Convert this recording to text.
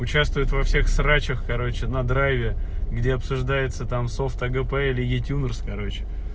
участвует во всех срачах короче на драйве где обсуждается там софт агп или ютюберс короче